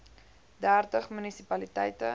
dertig munisi paliteite